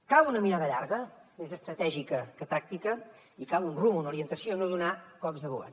cal una mirada llarga més estratègica que tàctica i cal un rumb una orientació no donar cops de volant